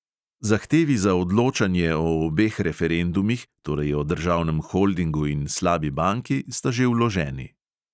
Zahtevi za odločanje o obeh referendumih, torej o državnem holdingu in slabi banki, sta že vloženi.